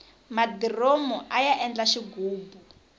madiromu aya endla xighubu